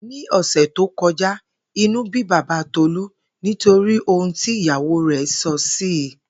Ní ò̩sè̩ tó ko̩já, inú bí baba Tolú nítorí ohun tí ìyàwó rè̩ sò̩ sí i